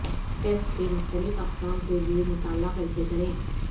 test کے مختلف اقسام کے لئے مطالعہ کیسے کریں